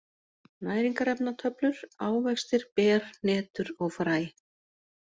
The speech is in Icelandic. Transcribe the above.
Næringarefnatöflur: Ávextir, ber, hnetur og fræ.